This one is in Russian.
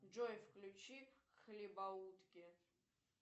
джой включи хлебоутки